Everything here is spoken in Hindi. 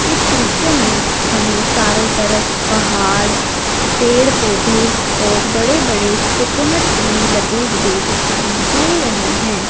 इस दृश्य में हमें चारों तरफ पहाड़ पेड़ पौधे और बड़े बड़े कोकोनट ट्री लगे हुए दिखाई दे रहे हैं।